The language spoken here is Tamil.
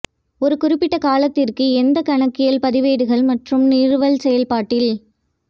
ஒரு குறிப்பிட்ட காலத்திற்கு எந்த கணக்கியல் பதிவேடுகள் மற்றும் நிறுவல் செயல்பாட்டில்